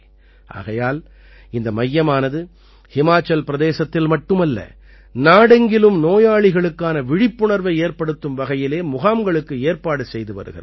ஆகையால் இந்த மையமானது ஹிமாச்சல் பிரதேசத்தில் மட்டுமல்ல நாடெங்கிலும் நோயாளிகளுக்கான விழிப்புணர்வை ஏற்படுத்தும் வகையிலே முகாம்களுக்கு ஏற்பாடு செய்து வருகிறது